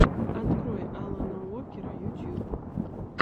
открой алана уокера ютуб